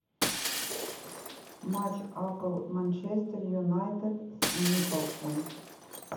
матч апл манчестер юнайтед с ньюкаслом